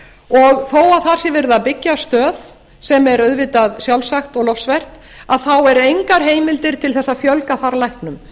og þó að þar sé verið að byggja stöð sem er auðvitað sjálfsagt og lofsvert þá eru engar heimildir til að fjölgar þar læknum